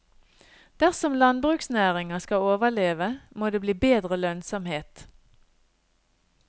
Dersom landbruksnæringa skal overleve, må det bli bedre lønnsomhet.